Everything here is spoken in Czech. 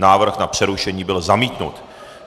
Návrh na přerušení byl zamítnut.